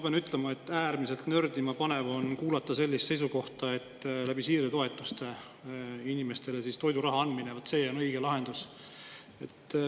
Ma pean ütlema, et äärmiselt nördima panev on kuulata sellist seisukohta, et siirdetoetuste abil inimestele toiduraha andmine on see õige lahendus.